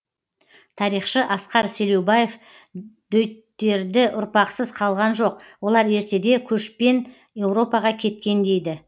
тарихшы асқар селеубаев дөйттерді ұрпақсыз қалған жоқ олар ертеде көшпен еуропаға кеткен дейді